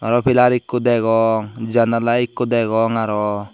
araw pilar ekko degong janala ekko degong araw.